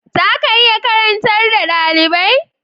Za ka iya karantar da dalibai?